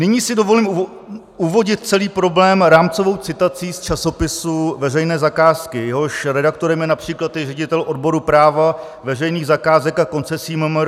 Nyní si dovolím uvodit celý problém rámcovou citací z časopisu Veřejné zakázky, jehož redaktorem je například i ředitel odboru práva, veřejných zakázek a koncesí MMR.